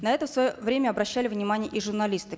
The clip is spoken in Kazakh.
на это в свое время обращали внимание и журналисты